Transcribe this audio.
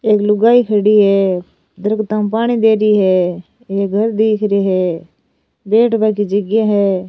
एक लुगाई खड़ी है दरकता में पानी दे री है एक घर दीख रे है बैठ बा की जगह है।